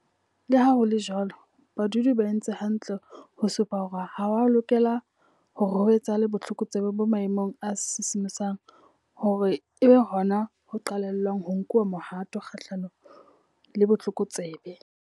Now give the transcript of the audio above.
Leha ho le jwalo, badudi ba entse hantle ho supa hore ha ho a lokela hore ho etsahale botlokotsebe bo maemong a sisimosang hore e be hona ho qetellwang ho nkuwa mohato kgahlanong le botlokotsebe.